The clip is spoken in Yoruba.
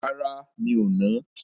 Rárá, mi ò nà á.